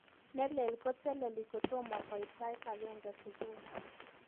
Neleel koteleli kotomo koit sait agenge subui